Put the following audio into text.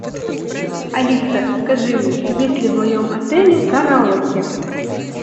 алиса скажи мне есть ли в моем отеле караоке